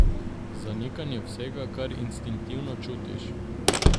Zanikanje vsega, kar instinktivno čutiš.